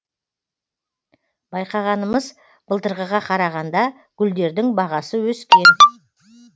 байқағанымыз былтырғыға қарағанда гүлдердің бағасы өскен